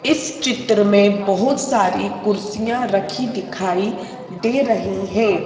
इस चित्र में बहुत सारी कुर्सियां रखी दिखाई दे रही हैं।